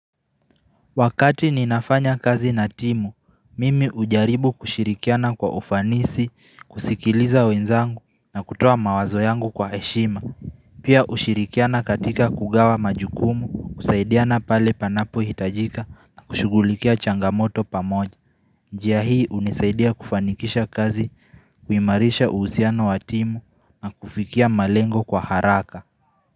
Wakati ninafanya kazi na timu, mimi hujaribu kushirikiana kwa ufanisi, kusikiliza wenzangu na kutoa mawazo yangu kwa heshima. Pia hushirikiana katika kugawa majukumu, kusaidiana pale panapo hitajika na kushugulikia changamoto pamoja. Njia hii hunisaidia kufanikisha kazi, kuimarisha uhusiano wa timu na kufikia malengo kwa haraka.